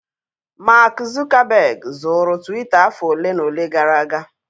Mark Zuckerberg zụụrụ Twita afọ ole na ole gara aga.